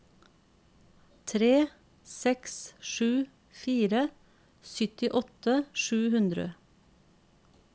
tre seks sju fire syttiåtte sju hundre